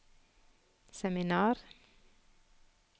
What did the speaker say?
seminar